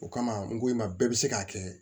O kama n ko i ma bɛɛ bɛ se k'a kɛ